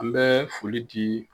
An bɛ foli di